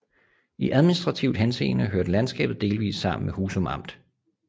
I administrativ henseende hørte landskabet delvist sammen med Husum Amt